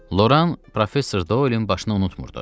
Loran professor Doylin başını unutmurdu.